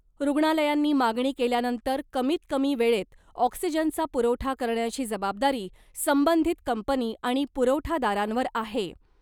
रुग्णालयांनी मागणी केल्यानंतर कमीत कमी वेळेत ऑक्सिजनचा पुरवठा करण्याची जबाबदारी संबंधित कंपनी आणि पुरवठादारांवर आहे .